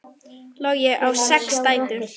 Logi á sex dætur.